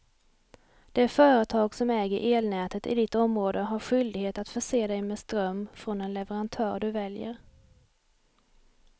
Det företag som äger elnätet i ditt område har skyldighet att förse dig med ström från den leverantör du väljer.